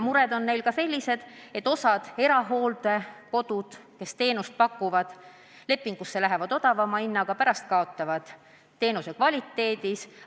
Mõned erahooldekodud, kes teenust pakuvad, sõlmivad lepingu odavama hinnaga, aga kaotavad teenuse kvaliteedis.